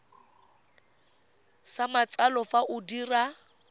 sa matsalo fa o dira